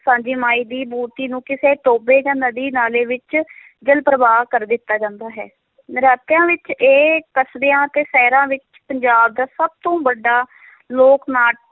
ਸਾਂਝੀ ਮਾਈ ਦੀ ਮੂਰਤੀ ਨੂੰ ਕਿਸੇ ਟੋਭੇ ਜਾਂ ਨਦੀ ਨਾਲੇ ਵਿੱਚ ਜਲ-ਪ੍ਰਵਾਹ ਕਰ ਦਿੱਤਾ ਜਾਂਦਾ ਹੈ, ਨੌਰਾਤਿਆਂ ਵਿੱਚ ਇਹ ਕਸਬਿਆਂ ਤੇ ਸ਼ਹਿਰਾਂ ਵਿੱਚ, ਪੰਜਾਬ ਦਾ ਸਭ ਤੋਂ ਵੱਡਾ ਲੋਕ-ਨਾਟ